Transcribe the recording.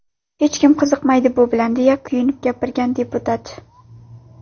Hech kim qiziqmaydi bu bilan”, deya kuyinib gapirgan deputat.